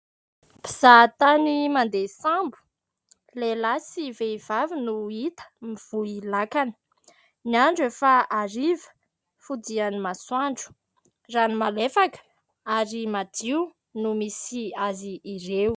Mpizahatany mandeha sambo, lehilahy sy vehivavy no hita mivoy lakana. Ny andro efa hariva, fodian'ny masoandro ; rano malefaka ary madio no misy azy ireo.